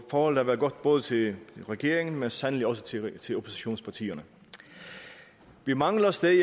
forholdet har været godt både til regeringen men sandelig også til til oppositionspartierne vi mangler stadig